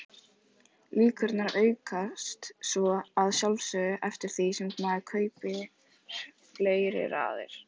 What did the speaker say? Líkurnar aukast svo að sjálfsögðu eftir því sem maður kaupir fleiri raðir.